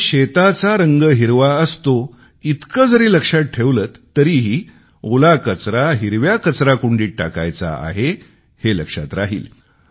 आणि शेताचा रंग हिरवा असतो इतके जरी लक्षात ठेवलेत तरीही ओला कचरा हिरव्या कचराकुंडीत टाकायचा आहे हे लक्षात राहील